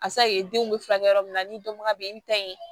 A denw bɛ furakɛ yɔrɔ min na ni dɔnbaga bɛ n ta ye